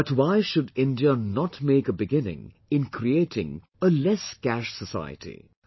But why should India not make a beginning in creating a 'lesscash society'